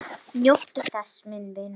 Njóttu þess, minn vinur.